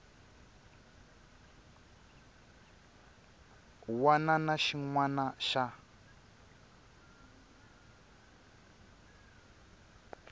wana na xin wana xa